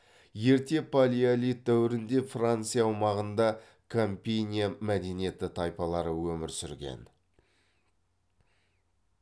ерте палеолит дәуірінде франция аумағында кампиния мәдениеті тайпалары өмір сүрген